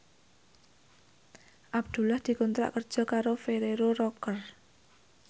Abdullah dikontrak kerja karo Ferrero Rocher